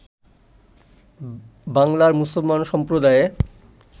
বাংলার মুসলমান সম্প্রদায়ের